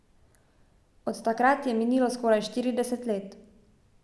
Od takrat je minilo skoraj štirideset let ...